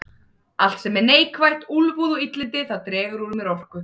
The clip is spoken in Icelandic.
Allt sem er neikvætt, úlfúð og illindi, það dregur úr mér orku.